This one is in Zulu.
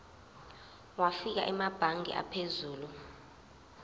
wafika emabangeni aphezulu